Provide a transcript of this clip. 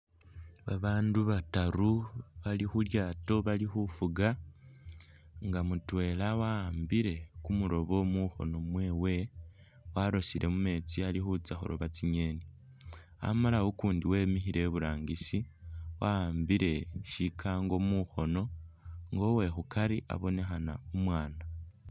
Babandu bataru bali khulyaato bali khufuga nga mutwela wa'ambile kumulobo mukhono mwewe warosile mumeetsi Ali khutsya khuloba tsingeni ,amala akundi wemikhile iburangisi wa'ambile shikango mukhono nga uwekhukari abonekhana umwana